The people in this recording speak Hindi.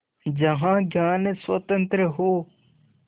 जहाँ ज्ञान स्वतन्त्र हो